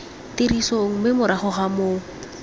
tirisong mme morago ga moo